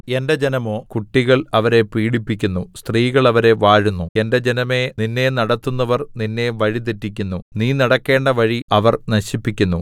എന്റെ ജനമോ കുട്ടികൾ അവരെ പീഡിപ്പിക്കുന്നു സ്ത്രീകൾ അവരെ വാഴുന്നു എന്റെ ജനമേ നിന്നെ നടത്തുന്നവർ നിന്നെ വഴി തെറ്റിക്കുന്നു നീ നടക്കേണ്ട വഴി അവർ നശിപ്പിക്കുന്നു